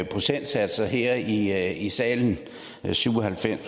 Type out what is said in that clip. procentsatser her her i salen syv og halvfems